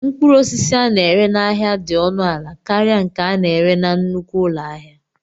Mkpụrụ osisi a na-ere n'ahịa dị ọnụ ala karịa nke a na-ere na nnukwu ụlọ ahịa.